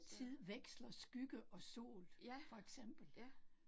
Så, ja, ja